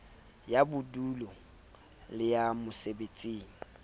ya bodulo le ya mosebetsing